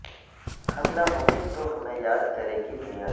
ہم نہ ہوں گے تو ہمیں یاد کرے گی دنیا